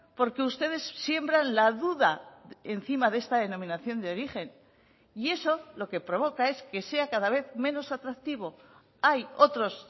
porque ustedes siembran la duda encima de esta denominación de origen y eso lo que provoca es que sea cada vez menos atractivo hay otros